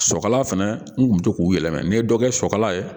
Sɔkala fɛnɛ n kun be to k'u yɛlɛmɛ n ye dɔ kɛ sɔkala ye